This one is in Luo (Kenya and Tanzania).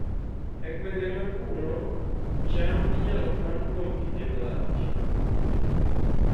E gwenge ma kuno, cham inyalo kan kuom kinde malach